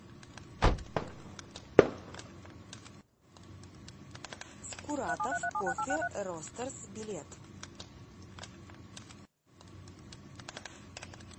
скуратов кофе ростэрс билет